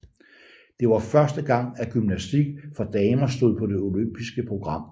Det var første gang at gymnastik for damer stod på det olympiske program